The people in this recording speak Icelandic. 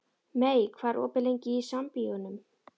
Mey, hvað er opið lengi í Sambíóunum?